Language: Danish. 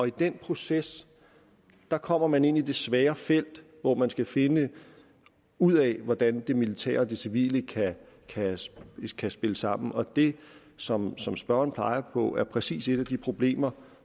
i den proces kommer man ind i det svære felt hvor man skal finde ud af hvordan det militære og det civile kan kan spille sammen og det som som spørgeren peger på er præcis et af de problemer